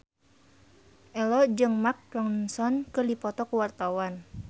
Ello jeung Mark Ronson keur dipoto ku wartawan